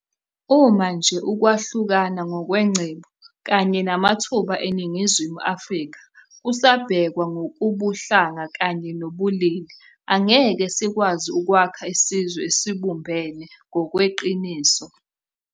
Uma nje ukwahlukana ngokwengcebo kanye namathuba eNingizimu Afrika kusabhekwa ngokobuhlanga kanye nobulili, angeke sikwazi ukwakha isizwe esibumbene ngokweqiniso.